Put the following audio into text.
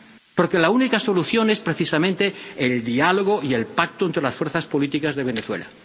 porque la única solución es precisamente el diálogo y el pacto entre las fuerzas políticas de Venezuela.